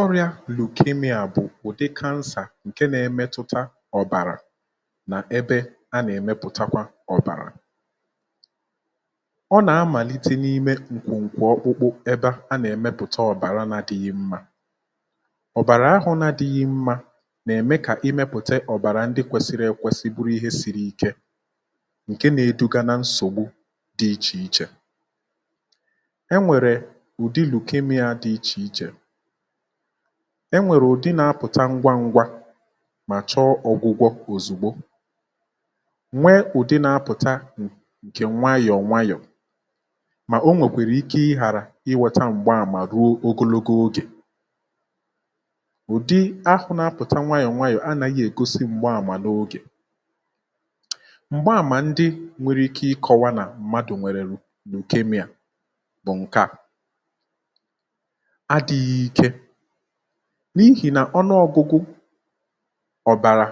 ọrịȧ lùkermia bụ̀ ụ̀dị kȧnsà ǹke nȧ-emetụta ọ̀bàrà nà ebe a nà-èmepụ̀takwa ọ̀bàrà ọ nà-amàlite n’ime ǹkwu nkwu ọkpụkpụ ebe a nà-èmepùta ọ̀bàra na-adịghị mmȧ, ọ̀bàrà ahụ na-adịghị mmȧ nà-ème kà ịmėpụ̀ta ọ̀bàrà ndị kwesiri ekwesi bụrụ ihe siri ike ǹke nȧ-eduga na nsògbu dị̇ ichè ichè enwèrè ụ̀dị lùkermia di iche iche, enwere ndị na-apụ̀ta ngwa ngwa mà chọọ ọ̀gwụ̇gwọ̇ òzigbo nwee ụ̀dị na-apụ̀ta ǹkè nwayọ̀ nwayọ̀ mà o nwèkwara ike ị ghàrà inwėtȧ m̀gba àmà ruo ogologo ogè ụ̀dị ahụ̇ na-apụ̀ta nwayọ̀ nwayọ̀ anàghi ègosi m̀gba àmà n’ogè, m̀gba àmà ndị nwere ike ịkọwa nà mmadù nwèrè lùkermia bu nke a,adị̇ghị̇ ike n’ihì na ọnụọgụgụ ọ̀bàrà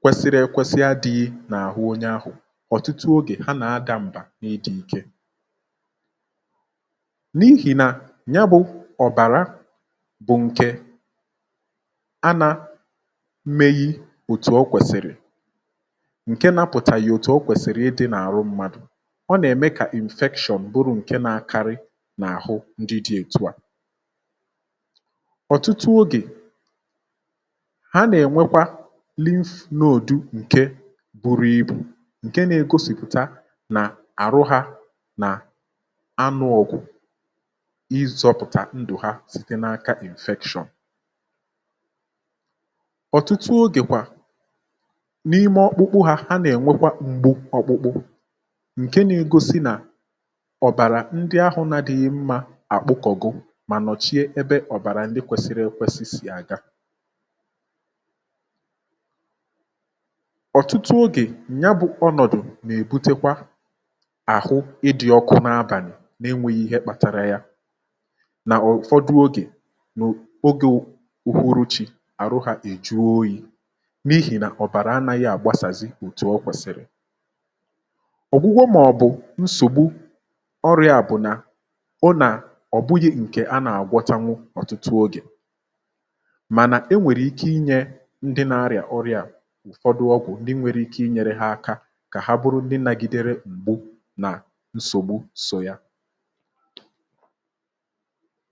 kwesiri èkwesị adịghị n’àhụ onye ahụ̀ ọ̀tụtụ ogè ha nà-adà mbà n’ịdị̇ i̇kė n’ihì na ya bụ̇ ọ̀bàra bụ̀ ǹke ana-meghi òtù ọ̀ kwèsìrì ǹke napụ̀tànyì òtù ọ̀ kwèsìrì ịdị̇ n’àrụ mmadù ọ nà-ème kà injection bụrụ ǹke na-akarị na ahụ ndi di otu a, ọtụtụ ogè ha nà-ènwekwa lintnodu ǹke bụrụ ibù ǹke na-egosìpụ̀ta nà àrụ hȧ nà anụ ọ̀gụ̀ izọ̇pụ̀tà ndụ̀ ha site na-aka infection. ọ̀tụtụ ogè kwà n’ime ọkpụkpụ hȧ ha nà-ènwekwa m̀gbu ọkpụkpụ nke na egosi na obara ndị ahụ na-adịghi mma akpukogo mà nọchie ebe ọ̀bàrà ndị kwesiri ekwesị sì aga ọ̀tụtụ ogè, ya bu ọnọdụ na-ebutekwa ahụ ịdị ọkụ n'abali na enweghị ihe kpatara ya na ụfọdụ oge wu oge uhuruchi arụ ha ejụọ oyí n'ihi na obara anaghị agbasazi otu okwesiri ogwugwo maọbu nsogbu ọrịa a bu na ọ na ọbughi nke ana agwotanwu ọtụtụ oge mana enwèrè ike inyė ndị nȧ-ȧrị̀à ọrịà ụ̀fọdụ ọgwụ ndị nwere ike inyėrė hȧ aka kà ha bụrụ ndị nȧgidere m̀gbu nà nsògbu sọ ya